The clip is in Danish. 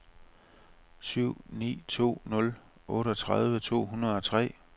syv ni to nul otteogtredive to hundrede og tre